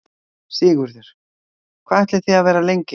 Sigurður: Hvað ætlið þið að vera lengi hérna?